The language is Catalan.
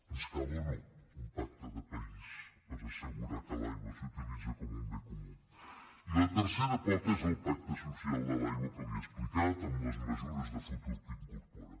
ens cal o no un pacte de país per assegurar que l’aigua s’utilitza com un bé comú i la tercera pota és el pacte social de l’aigua que li he explicat amb les mesures de futur que incorpora